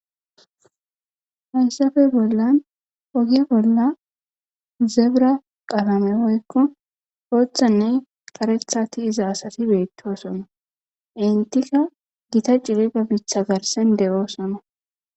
Haysappe bollan oge bolla zebira qalame woykon bothane karetha tiyiza asati betosona entika gita cilila mitha garsan de'osona